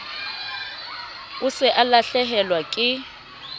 o se o lahlehelwa ke